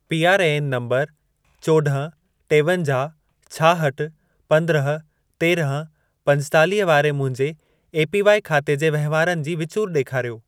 PRAN number चोॾहं, टेवंजाहु, छाहठि, पंद्रहं, तेरहं, पंजेतालीह वारे मुंहिंजे एपीवाई खाते जे वहिंवारनि जी विचूर ॾेखारियो।